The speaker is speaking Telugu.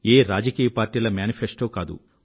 ఏ రాజకీయపక్షాల ఎన్నికల వాగ్దాన పత్రం కాదు